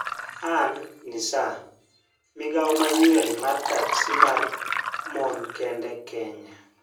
An-Nisaa: Migawo manyien mar taksi mar mon kende Kenya